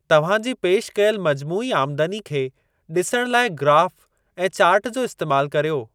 तव्हां जी पेशि कयल मजमूई आमदनी खे ॾिसण लाइ ग्राफ़ ऐं चार्ट जो इस्तेमाल करियो।